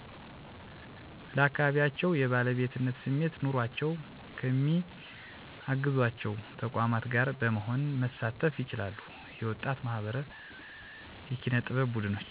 ለአካባቢያቸዉ የባለቤትነት ስሜት ኑሮአቸዉ ከሚአግዞአቸዉ ተቋማት ጋር በመሆን መሳተፍ ይችላሉ። የወጣት ማህበራት፣ የኪነ ጥበብ ቡድኖች....